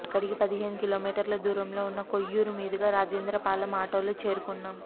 అక్కడికి పదిహేను కిలోమీటర్ల దూరంలో ఉన్న కొయ్యూరు మీదుగా రాజేంద్రపాలెం ఆటోలో చేరుకున్నాం